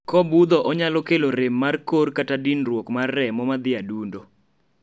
kobudho onyalo kelo rem mar kor kata dinruok mar remo madhie adundo